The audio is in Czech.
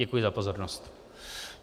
Děkuji za pozornost.